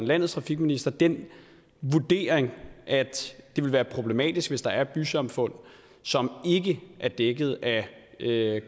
landets trafikminister den vurdering at det ville være problematisk hvis der er bysamfund som ikke er dækket af